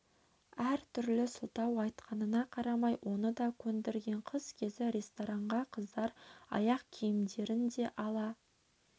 әр түрлі сылтау айтқанына қарамай оны да көндірген қыс кезі ресторанға қыздар аяқ киімдерін де ала